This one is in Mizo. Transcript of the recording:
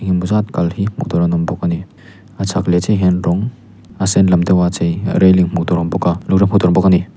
engemaw zat kal hi hmuh tur an awm bawk a ni a chhak leh chiah ah hian rawng a sen lam deuh a chei a railing hmuh tur a awm bawk a a ni.